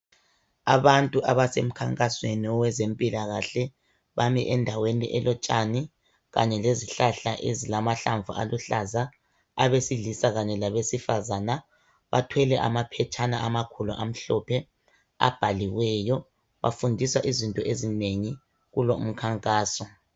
abantu abasemkhankasweni wezempilakahle bami endaweni elotshani kanye lezihlahla ezilamahlamvu aluhlaza abesilisa labesifazana bathwele amaphetshana amhlophe ababhaliweyo bafundiswa izinto ezinengi kulo umkhankaso